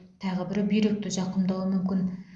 тағы бірі бүйректі зақымдауы мүмкін